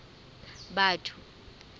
batho